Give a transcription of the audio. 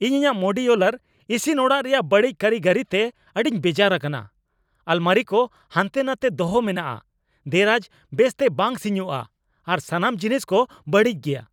ᱤᱧ ᱤᱧᱟᱹᱜ ᱢᱳᱰᱤᱭᱳᱞᱟᱨ ᱤᱥᱤᱱ ᱚᱲᱟᱜ ᱨᱮᱭᱟᱜ ᱵᱟᱹᱲᱤᱡ ᱠᱟᱹᱨᱤᱜᱚᱨᱤ ᱛᱮ ᱟᱹᱰᱤᱧ ᱵᱮᱡᱟᱨ ᱟᱠᱟᱱᱟ ᱾ ᱟᱞᱢᱟᱨᱤ ᱠᱚ ᱦᱟᱱᱛᱮᱼᱱᱟᱛᱮ ᱫᱚᱦᱚ ᱮᱢᱱᱟᱜᱼᱟ, ᱫᱮᱨᱟᱡᱽ ᱵᱮᱥ ᱛᱮ ᱵᱟᱝ ᱥᱤᱧᱚᱜᱼᱟ, ᱟᱨ ᱥᱟᱱᱟᱢ ᱡᱤᱱᱤᱥ ᱠᱚ ᱵᱟᱹᱲᱤᱡ ᱜᱮᱭᱟ ᱾